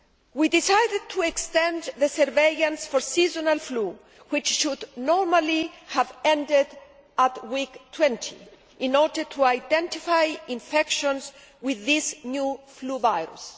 We decided to extend the surveillance for seasonal flu, which should normally have ended at week 20, in order to identify infections with this new flu virus.